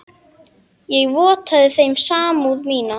Ég vottaði þeim samúð mína.